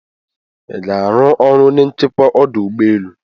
iga aru ọrụ onye nchekwa ọdụ ụgbọ enu?